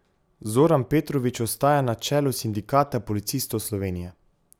Zoran Petrovič ostaja na čelu Sindikata policistov Slovenije.